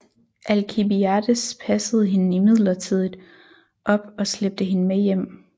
Alkibiades passede hende imidlertid op og slæbte hende med hjem